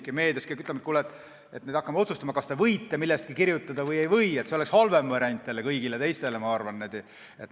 Kui keegi ütleb, et kuule, nüüd me hakkame otsustama, kas te võite millestki kirjutada või ei või, siis see oleks halvem variant kõigile teistele, ma arvan.